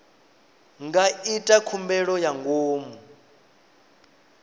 nga ita khumbelo ya ngomu